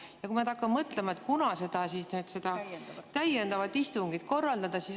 Ma nüüd hakkan mõtlema, kuna seda täiendavat istungit korraldada.